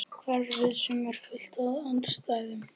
Hverfið sem er fullt af andstæðum.